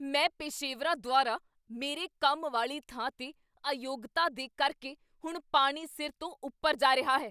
ਮੈਂ ਪੇਸ਼ੇਵਰਾਂ ਦੁਆਰਾ ਮੇਰੇ ਕੰਮ ਵਾਲੀ ਥਾਂ 'ਤੇ ਅਯੋਗਤਾ ਦੇ ਕਰਕੇ ਹੁਣ ਪਾਣੀ ਸਿਰ ਤੋਂ ਉੱਪਰ ਜਾ ਰਿਹਾ ਹੈ।